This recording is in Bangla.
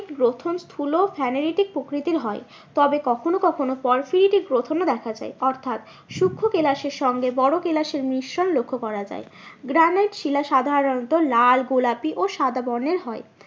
গ্রথন স্থুল প্রকৃতির হয়। তবে কখনো কখনো গ্রথন ও দেখা যায় অর্থাৎ সুক্ষ কেলাসের সঙ্গে বড়ো কেলাসের মিশ্রণ লক্ষ করা যায়। গ্রানাইট শিলা সাধারণত লাল গোলাপি ও সাদা বর্ণের হয়।